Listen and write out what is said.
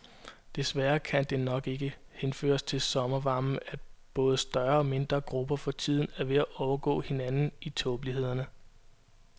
Desværre kan det nok ikke henføres til sommervarmen, at både større og mindre grupper for tiden er ved at overgå hinanden i tåbeligheder.